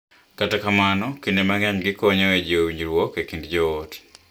Kata kamano, kinde mang’eny gikonyo e jiwo winjruok e kind joot .